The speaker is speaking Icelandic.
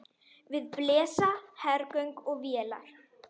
Við blasa hergögn og vélar.